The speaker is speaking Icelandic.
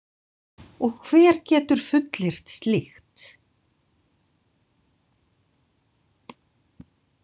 Og hver getur fullyrt slíkt?